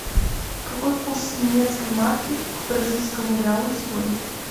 какой курс немецкой марки к бразильскому реалу сегодня